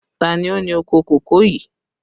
Ta ni ó ní oko kòkó yìí?